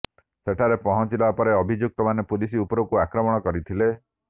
ସେଠାରେ ପହଞ୍ଚିଲା ପରେ ଅଭିଯୁକ୍ତମାନେ ପୁଲିସ ଉପରକୁ ଆକ୍ରମଣ କରିଥିଲେ